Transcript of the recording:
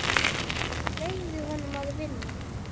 Ég leyfi honum að vinna.